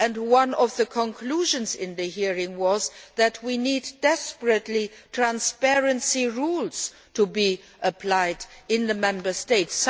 gap. One of the conclusions of the hearing was that we desperately need transparency rules to be applied in the Member States.